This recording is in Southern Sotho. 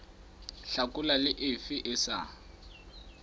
hlakola le efe e sa